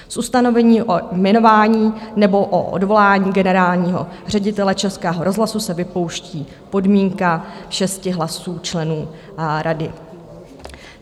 Z ustanovení o jmenování nebo o odvolání generálního ředitele Českého rozhlasu se vypouští podmínka šesti hlasů členů rady.